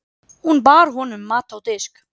Hún bar honum mat á disk.